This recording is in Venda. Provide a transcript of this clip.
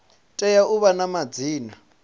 tea u vha na madzina